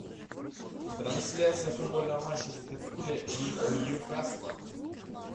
трансляция футбольного матча ливерпуль и ньюкасла